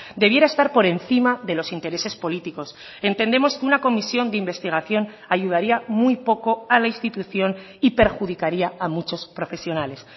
debiera estar por encima de los intereses políticos entendemos que una comisión de investigación ayudaría muy poco a la institución y perjudicaría a muchos profesionales